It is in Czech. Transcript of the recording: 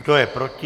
Kdo je proti?